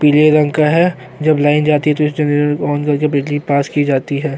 पीले रंग का है जब लाइन जाती है तो इस जेनेरेटर को ओन करके बिजली पास की जाती है।